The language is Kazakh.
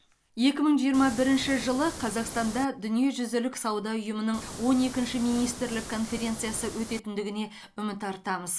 екі мың жиырма бірінші жылы қазақстанда дүниежүзілік сауда ұйымының он екінші министрлік конференциясы өтетіндігіне үміт артамыз